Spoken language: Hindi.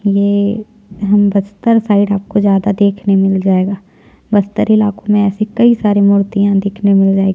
ये हम बस्तर साइड आपको ज्यादा देखने मिल जायेगा बस्तर इलाको में ऐसी कई सारी मूर्तियाँ देखने मिल जाएगी --